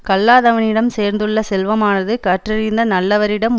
கல்லாதவனிடம் சேர்ந்துள்ள செல்வமானது கற்றறிந்த நல்லவரிடம்